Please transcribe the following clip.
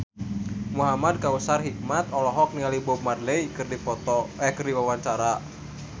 Muhamad Kautsar Hikmat olohok ningali Bob Marley keur diwawancara